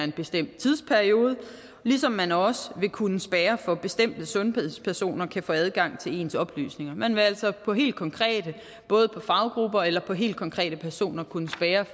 bestemt tidsperiode ligesom man også vil kunne spærre for at bestemte sundhedspersoner kan få adgang til ens oplysninger man vil altså for helt konkrete faggrupper eller helt konkrete personer kunne spærre